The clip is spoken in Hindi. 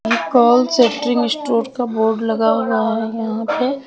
कॉल सेट्रीग स्टोर का बोर्ड लगा हुआ है यहां पे--